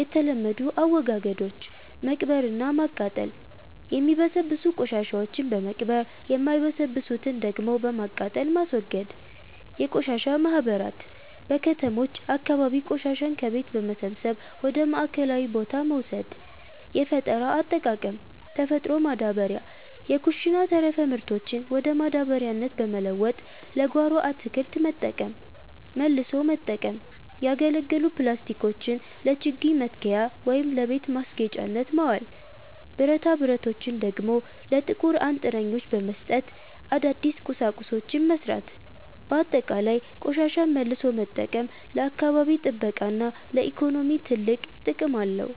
የተለመዱ አወጋገዶች፦ መቅበርና ማቃጠል፦ የሚበሰብሱ ቆሻሻዎችን በመቅበር፣ የማይበሰብሱትን ደግሞ በማቃጠል ማስወገድ። የቆሻሻ ማህበራት፦ በከተሞች አካባቢ ቆሻሻን ከቤት በመሰብሰብ ወደ ማዕከላዊ ቦታ መውሰድ። የፈጠራ አጠቃቀም፦ ተፈጥሮ ማዳበሪያ፦ የኩሽና ተረፈ ምርቶችን ወደ ማዳበሪያነት በመለወጥ ለጓሮ አትክልት መጠቀም። መልሶ መጠቀም፦ ያገለገሉ ፕላስቲኮችን ለችግኝ መትከያ ወይም ለቤት ማስጌጫነት ማዋል፤ ብረታብረቶችን ደግሞ ለጥቁር አንጥረኞች በመስጠት አዳዲስ ቁሳቁሶችን መሥራት። ባጠቃላይ፣ ቆሻሻን መልሶ መጠቀም ለአካባቢ ጥበቃና ለኢኮኖሚ ትልቅ ጥቅም አለው።